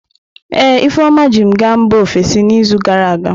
Ee, Ifeoma ji m gaa mba ofesi n'izu gara aga.